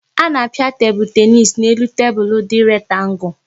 A na-a pịa tebụl tenis n' elu tebụl dị rektangu